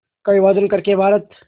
का विभाजन कर के भारत